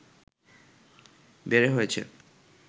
বেড়ে হয়েছে